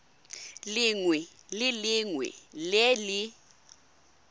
lengwe le lengwe le le